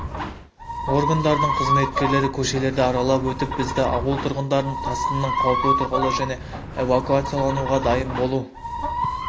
органдарының қызметкерлері көшелерді аралап өтіп бізді ауыл тұрғындарын тасқынның қауіпі туралы және эвакуациялануға дайын болу